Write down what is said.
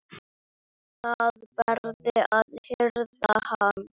Var verið að hirða hann?